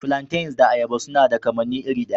Flantains da ayaba suna da kamanni iri ɗaya.